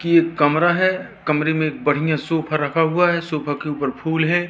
की एक कमरा है कमरे में बड़िया सोफा रखा हुआ है सोफा के उपर फूल है।